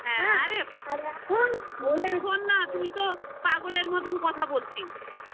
হ্যাঁ আরে এখন বলছি শোন না তুই তো পাগলের মতন কথা বলছিস